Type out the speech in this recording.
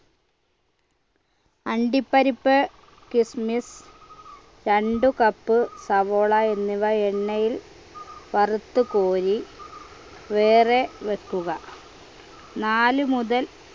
അണ്ടിപ്പരിപ്പ് kismis രണ്ടു cup സവാള എന്നിവ എണ്ണയിൽ വറുത്ത് കോരി വേറെ വെക്കുക നാല് മുതൽ